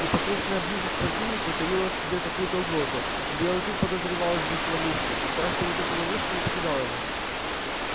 непосредственная близость к противнику таила в себе какую то угрозу и белый клык подозревал здесь ловушку и страх перед этой ловушкой не покидал его